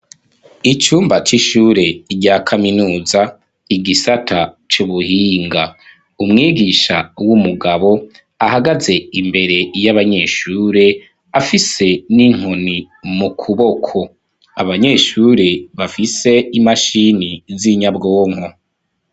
Icumba c'ishure rya kaminuza igisata c'ubuhinga. Umwigisha w'umugabo, ahagaze imbere y'abanyeshure, afise n'inkoni mu kuboko. Abanyeshure bafise imashini z'inyabwonko.